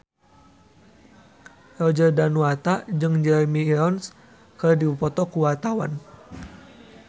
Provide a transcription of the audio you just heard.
Roger Danuarta jeung Jeremy Irons keur dipoto ku wartawan